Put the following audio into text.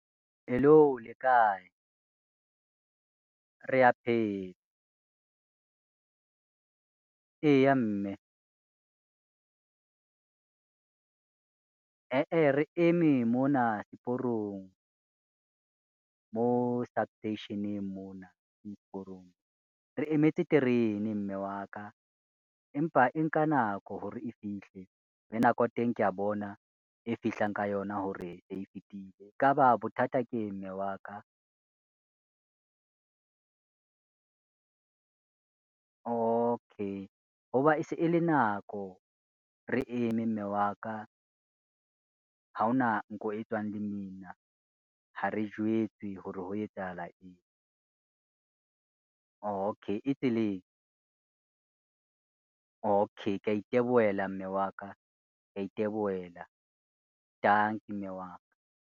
Hello! le kae? Rea phela. Eya mme, eheh re eme mona seporong mo substation-eng mona seporong. Re emetse terene mme wa ka, empa e nka nako hore e fihle, le nako ya teng ke ya bona e fihlang ka yona hore se e fitile. E ka ba bothata keng mme wa ka? Okay, ho ba e se e le nako re eme mme wa ka, ha ona nko e tswang lemina, ha re jwetse ho re ho etsahala eng. Okay, e tseleng? Okay, ke ya itebohela mme wa ka, ke ya itebohela. Tanki mme wa ka.